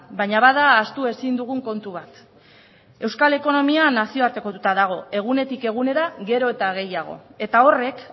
baina bada ahaztu ezin dugun kontu bat euskal ekonomia nazioartekotuta dago egunetik egunera gero eta gehiago eta horrek